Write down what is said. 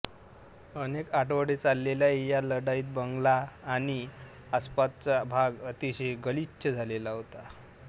अनेक आठवडे चाललेल्या या लढाईत बंगला आणि आसपासचा भाग अतिशय गलिच्छ झालेला होता